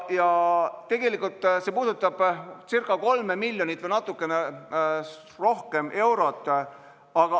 Ja tegelikult see puudutab ca kolme miljonit või natuke rohkemat eurot.